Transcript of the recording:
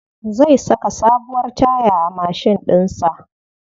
Zai saka sabuwar taya a mashin ɗin sa.